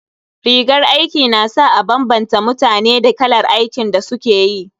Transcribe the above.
Rigar aiki na sa a bambanta mutane da kalar aikin da suke yi.